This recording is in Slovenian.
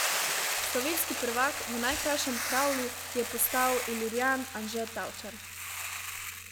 Slovenski prvak v najkrajšem kravlu je postal ilirijan Anže Tavčar.